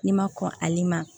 N'i ma kɔn ale ma